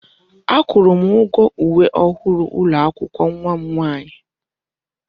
Akwụrụ m ụgwọ uwe ọhụrụ ụlọ akwụkwọ nwa m nwaanyị.